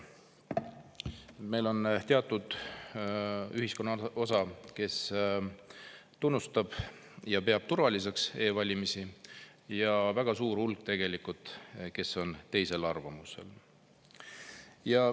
Meil on teatud ühiskonnaosa, kes tunnustab ja peab turvaliseks e-valimisi, ja on tegelikult väga suur hulk inimesi, kes on teisel arvamusel.